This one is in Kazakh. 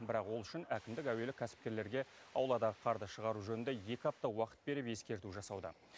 бірақ ол үшін әкімдік әуелі кәсіпкерлерге ауладағы қарды шығару жөнінде екі апта уақыт беріп ескерту жасауда